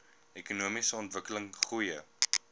ekonomiese ontwikkeling goeie